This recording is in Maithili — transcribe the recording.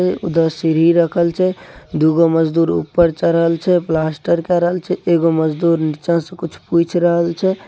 राखल छै सीढ़ी रखल छै दू गो मजदूर ऊपर चढ़ल छै ऊपर प्लास्टर के रहल छै एगो मजदूर नीचा से कुछ के रहल छै।